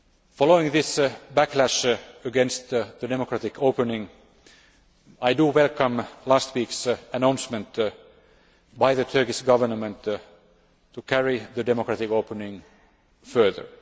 Following this backlash against the democratic opening, I welcome last week's announcement by the Turkish Government to carry the democratic opening further.